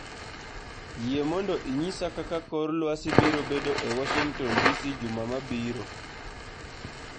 yie mondo inyisa kaka kor lwasi birobedo e washington d. c. juma mabiro